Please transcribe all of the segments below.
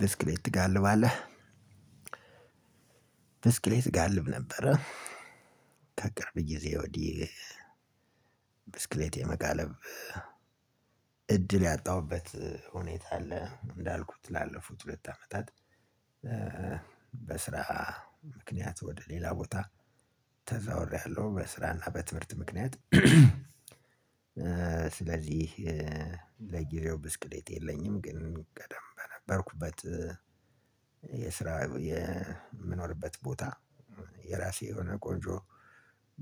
ብስክሌት ትጋልባለህ? ብስክሌት ጋልብ ነበረ ከቅርብ ጊዜ ወዲህ ብስክሌት የመጋለብ እድል ያጣሁበት ሁኔታ አለ። እንዳልኩት ላለፉት ሁለት አመታት በስራ ምክንያት ወደ ሌላ ቦታ ተዛዋውሬያለሁ በስራ እና በትምህርት ምክንያት ስለዚህ ለጊዜው ብስክሌት የለኝም፤ ግን ቀድሞ በነበርኩበት የስራ የምኖርበት ቦታ የራሴ የሆነ ቆንጆ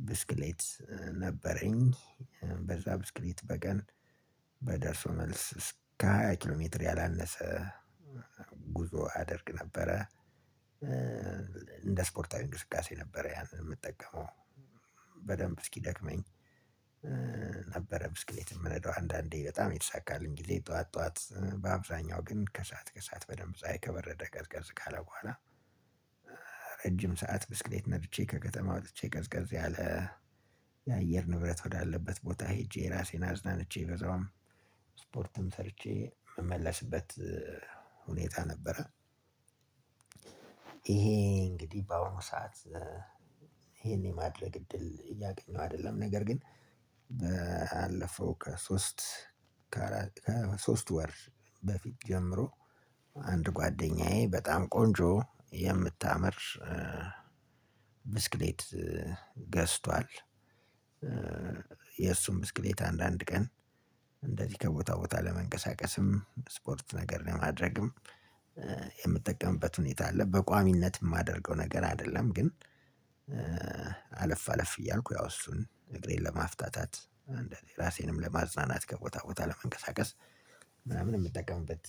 ብስክሌት ነበረኝ። በዛ ብስክሌት በቀን በደርሶ መልስ እስከ ሃያ ኪሎ ሜትር ያላነሰ ጉዞ አደርግ ነበረ ለስፖርታዊ እንቅስቃሴ ነበር ያን የምንጠቀመው። በደንብ እስኪደክመኝ ብስክሌት የምነዳው አንዳንዴ በጣም የተሳካኝ ጊዜ ጠዋት ጠዋት በአብዛኛው ግን ከሰአት ከሰአት በደንብ ፀሀይ ከበረደ ቀዝቀዝ ካለ በኋላ ረጅም ሰዓት ብስክሌት ነድቼ ከከተማ ወጥቼ ቀዝቀዝ ያለ የአየር ንብረት ወዳለበት ቦታ ሄጄ ራሴን አዝናንቼ በዛውም ስፖርትም ሰርቼ የምመለስበት ሁኔታ ነበረ። ይሄ እንግዲህ በአሁኑ ሰዓት ይሄን የማድረግ እድል እያገኘው አይደለም ነገር ግን ባለፈው ከሶስት ከአራት ሶስት ወር በፊት ጀምሮ አንድ ጓደኛዬ በጣም ቆንጆ የምታምር ብስክሌት ገዝቷል የእሱን ብስክሌት አንዳንድ ቀን እንደዚህ ከቦታ ቦታ ለመንቀሳቀስም ስፖርት ነገር ለማድረግም የምጠቀምበት ሁኔታ አለ፤ በቋሚነት የማደርገው ነገር አይደለም ግን አለፍ አለፍ እያልኩ ያው እሱን እግሬን ለማፍታታት እንደዚህ ራሴንም ለማዝናናት ከቦታ ቦታ ለመንቀሳቀስ ምናምን የምጠቀምበት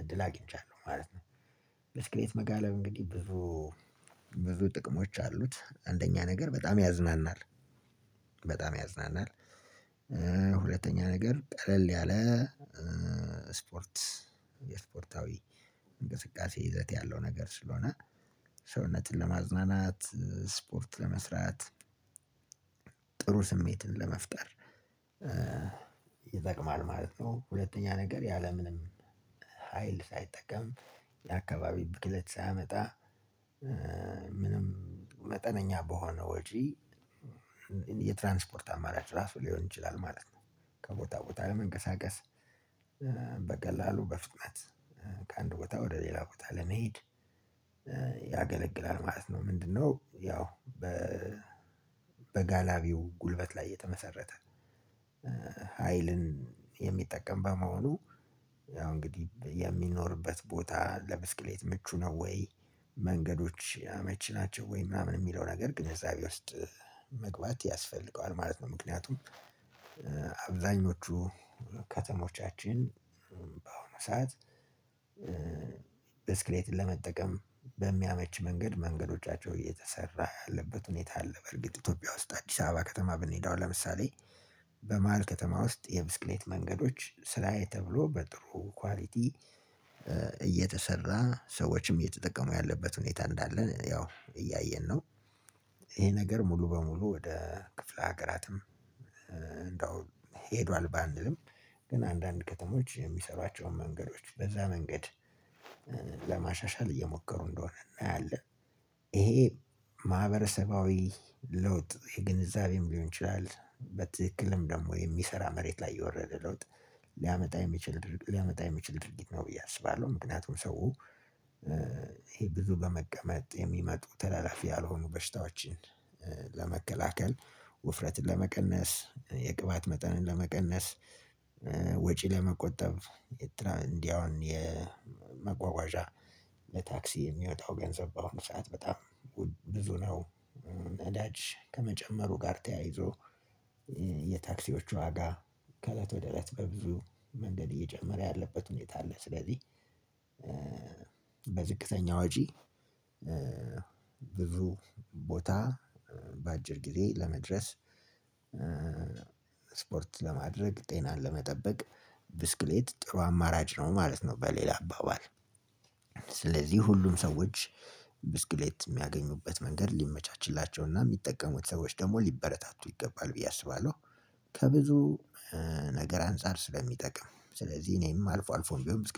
እድል አግኝቻለሁ ማለት ነው። ብስክሌት መጋለብ እንግዲህ ብዙ ብዙ ጥቅሞች አሉት አንደኛ ነገር በጣም ያዝናናል፣ በጣም ያዝናናል። ሁለተኛ ነገር ቀለል ያለ ስፖርት የስፖርታዊ እንቅስቃሴ ይዘት ያለው ነገር ስለሆነ ሰውነትን ለማዝናናት ስፖርት ለመስራት ጥሩ ስሜትን ለመፍጠር ይጠቅማል ማለት ነው። ሁለተኛ ነገር ያለምንም ሀይል ሳይጠቀም የአካባቢ ብክለት ሳያመጣ ምንም መጠነኛ በሆነ ወጪ የትራንስፖርት አማራጭ ራሱ ሊሆን ይችላል ማለት ነው። ከቦታ ቦታ ለመንቀሳቀስ፣ በቀላሉ በፍጥነት ከአንድ ቦታ ወደ ሌላ ቦታ ለመሄድ ያገለግላል ማለት ነው። ምንድነው ያው በጋላቢው ጉልበት ላይ የተመሰረተ ሀይልን የሚጠቀም በመሆኑ ያው እንግዲህ የሚኖርበት ቦታ ለብስክሌት ምቹ ነው ወይ መንገዶች አመቺ ናቸው ወይ? ምናምን የሚለው ነገር ግንዛቤ ውስጥ መግባት ያስፈልገዋል ማለት ነው፤ ምክንያቱም አብዛኞቹ ከተሞቻችን በአሁኑ ሰዓት ብስክሌት ለመጠቀም በሚያመች መንገድ መንገዶቻቸው እየተሰራ ያለበት ሁኔታ አለ በእርግጥ ኢትዮጵያ ውስጥ አዲስ አበባ ከተማ ብንሄድ አሁን ለምሳሌ በመሃል ከተማ ውስጥ የብስክሌት መንገዶች ስራዬ ተብሎ በጥሩ ኳሊቲ እየተሰሩ ሰዎችም እየተጠቀሙ ያለበት ሁኔታ እንዳለ ያው እያየን ነው። ይሄ ነገር ሙሉ በሙሉ ወደ ክፍለ ሀገራትም እንደው ሄዷል ባንልም ግን አንዳንድ ከተሞች የሚሰሯቸውን መንገዶች በዛ መንገድ ለማሻሻል እየሞከሩ እንደሆነ እናያለን። ይሄ ማህበረሰባዊ ለውጥ የግንዛቤም ሊሆን ይችላል፣ በትክክልም ደግሞ የሚሰራ መሬት ላይ የወረደ ለውጥ ሊያመጣ የሚችል ድርጊት ሊያመጣ የሚችል ድርጊት ነው ብዬ አስባለሁ፤ ምክንያቱም ሰው ይሄ ብዙ በመቀመጥ የሚመጡ ተላላፊ ያልሆኑ በሽታዎችን ለመከላከል ውፍረትን ለመቀነስ፣ የቅባት መጠንን ለመቀነስ፣ ወጪ ለመቆጠብ እንዲህ አሁን የመጓጓዣ ለታክሲ የሚወጣው ገንዘብ በአሁኑ ሰዓት በጣም ብዙ ነው። ነዳጅ ከመጨመሩ ጋር ተያይዞ የታክሲዎች ዋጋ ከእለት ወደ እለት በብዙ መንገድ እየጨመረ ያለበት ሁኔታ ላይ ስላለን፣ በዝቅተኛ ወጪ ብዙ ቦታ በአጭር ጊዜ ለመድረስ ስፖርት ለማድረግ ጤናን ለመጠበቅ ብስክሌት ጥሩ አማራጭ ነው ማለት ነው በሌላ አባባል። ስለዚህ ሁሉም ሰዎች ብስክሌት የሚያገኙበት መንገድ ሊመቻችላቸው እና የሚጠቀሙት ሰዎች ደግሞ ሊበረታቱ ይገባል ብዬ አስባለሁ። ከብዙ ነገር አንፃር ስለሚጠቅም ስለዚህ እኔም አልፎ አልፎም ቢሆን ብስክሌት